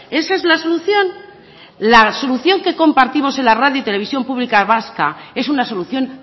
esa es la solución la solución que compartimos en la radio y televisión pública vasca es una solución